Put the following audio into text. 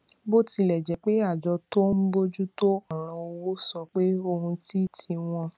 bó tilè jé pé àjọ tó ń bójú tó òràn owó sọ pé ohun tí tí wón